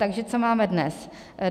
Takže co máme dnes?